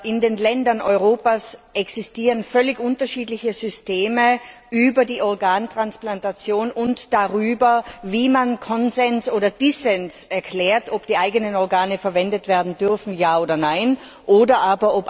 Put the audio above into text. In den Ländern Europas existieren völlig unterschiedliche Systeme für die Organtransplantation und dafür, wie man seinen Konsens oder Dissens erklärt, ob die eigenen Organe verwendet werden dürfen, bzw.